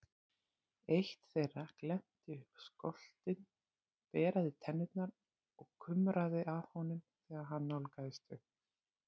Eitt þeirra glennti upp skoltinn, beraði tennurnar og kumraði að honum þegar hann nálgaðist þau.